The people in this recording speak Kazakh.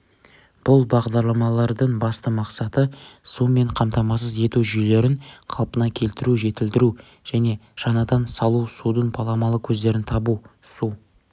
бұл бағдарламалардың басты мақсаты сумен қамтамасыз ету жүйелерін қалпына келтіру жетілдіру және жаңадан салу судың баламалы көздерін табу су